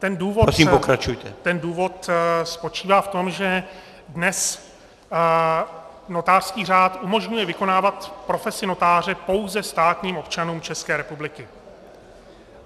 Ten důvod spočívá v tom, že dnes notářský řád umožňuje vykonávat profesi notáře pouze státním občanům České republiky.